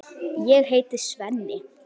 Ég heiti Svenni.